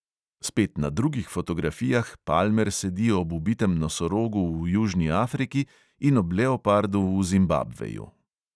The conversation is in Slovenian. Spet na drugih fotografijah palmer sedi ob ubitem nosorogu v južni afriki in ob leopardu v zimbabveju.